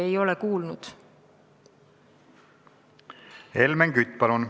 Helmen Kütt, palun!